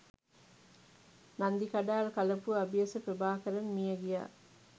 නන්දිකඩාල් කලපුව අබියස ප්‍රභාකරන් මියගියා